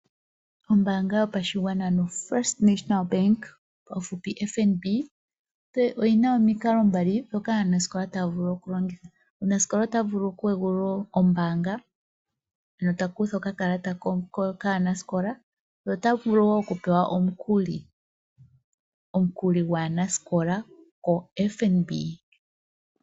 Ombaanga yotango yopashigwana oyi na omikalo dhili mbali ndhoka aanasikola haya vulu okulongitha . Omunasikola ota vulu okupatulula ombaanga mono ta kutha okakalata kaanasikola ye ota vulu wo okupewa omukuli gwaanasikola koFNB.